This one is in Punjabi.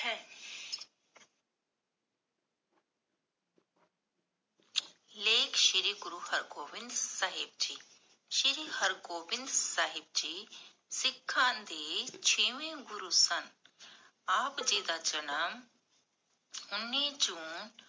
ਲੇਖ ਸ਼੍ਰੀ ਗੁਰੂ ਹਰ ਗੋਬਿੰਦ ਸਾਹਿਬ ਜੀ, ਸ਼੍ਰੀ ਹਰਗੋਬਿੰਦ ਸਾਹਿਬ ਜੀ ਸਿਖਾਂ ਦੇ ਛੇਵੇਂ ਗੁਰੂ ਸਨ । ਆਪ ਜੀ ਦਾ ਜਨਮ ਉੰਨੀ ਜੂਨ